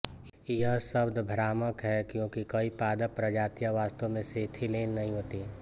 यह शब्द भ्रामक है क्योंकि कई पादप प्रजातियां वास्तव में शिथिल नहीं होती हैं